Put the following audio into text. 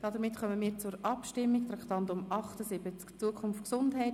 Damit kommen wir zur Abstimmung zum Traktandum 78, «Zukunft Gesundheit: